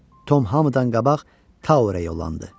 Tom hamıdan qabaq Towerə yollandı.